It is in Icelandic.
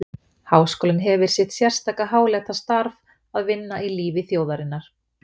Háskólinn hefir sitt sérstaka háleita starf að vinna í lífi þjóðarinnar.